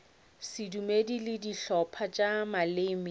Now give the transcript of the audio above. sedumedi le dihlopha tša maleme